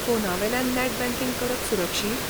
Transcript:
फोनावेल्यान net banking करप सुरक्षीत?